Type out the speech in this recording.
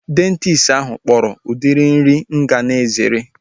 Dayetishanụ ahu kpọrọ udiri nri mụ ga na-ezere